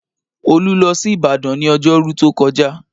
Olu lọ sí Ìbàdàn ní ọjọ́rú tó kọjá